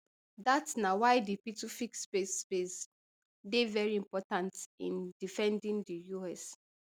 dat na why di pituffik space base dey very important in defending di us